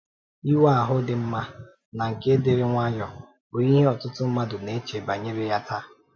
Ịnwe ahụ dị mma na nke dịrị nwayọ bụ ihe ọtụtụ mmadụ na-eche banyere ya taa.